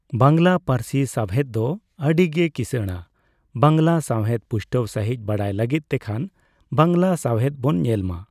ᱵᱟᱝᱞᱟ ᱯᱟᱹᱨᱥᱤ ᱥᱟᱣᱦᱮᱫ ᱫᱚ ᱟᱹᱰᱤ ᱜᱮ ᱠᱤᱥᱟᱹᱬᱟ ᱾ ᱵᱟᱝᱞᱟ ᱥᱟᱣᱦᱮᱫ ᱯᱩᱥᱴᱟᱹᱣ ᱥᱟᱸᱦᱤᱡ ᱵᱟᱰᱟᱭ ᱞᱟᱹᱜᱤᱫ ᱛᱮᱠᱷᱟᱱ ᱵᱟᱝᱞᱟ ᱥᱟᱣᱦᱮᱫ ᱵᱚᱱ ᱧᱮᱞ ᱢᱟ ᱾